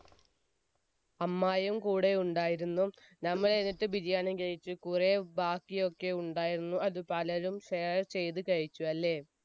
അമ്മായിയും കൂടെ ഉണ്ടായിരുന്നു, നമ്മൾ എന്നിട്ട് ബിരിയാണി കഴിച്ചു, കുറെ ബാക്കി ഒക്കെ ഉണ്ടായിരുന്നു, അത് പലരും share ചെയ്ത് കഴിച്ചു അല്ലേ?